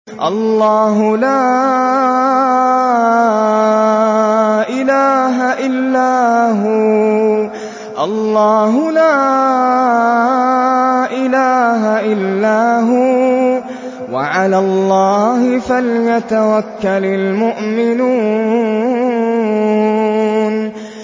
اللَّهُ لَا إِلَٰهَ إِلَّا هُوَ ۚ وَعَلَى اللَّهِ فَلْيَتَوَكَّلِ الْمُؤْمِنُونَ